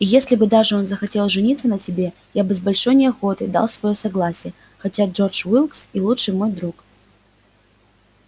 и если бы даже он захотел жениться на тебе я бы с большой неохотой дал своё согласие хотя джордж уилкс и лучший мой друг